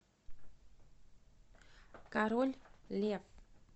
король лев